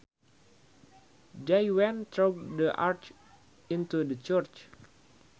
They went through the arch into the church